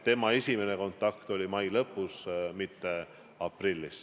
Tema esimene kontakt oli mai lõpus, mitte aprillis.